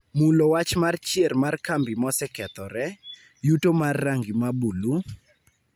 mulo wach mar chier mar kambi mosekethore, yuto mar rangi ma bulu,